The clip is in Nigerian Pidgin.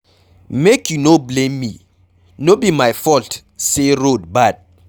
Make you no blame me, no be my fault say road bad